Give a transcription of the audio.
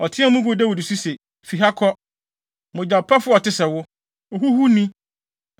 Ɔteɛɛ mu guu Dawid so se, “Fi ha kɔ! Mogyapɛfo a ɔte sɛ wo! Ohuhuni!